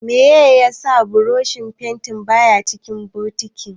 Meye yasa burushin fentin baya cikin bokitin?